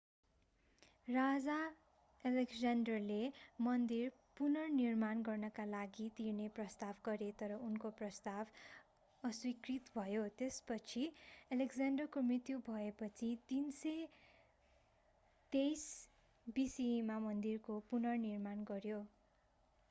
राजा एलेक्जेन्डरले मन्दिर पुनर्निर्माण गर्नका लागि तिर्ने प्रस्ताव गरे तर उनको प्रस्ताव अस्वीकृत भयो पछि एलेक्जेन्डरको मृत्यु भएपछि 323 bce मा मन्दिरको पुनर्निर्माण गरियो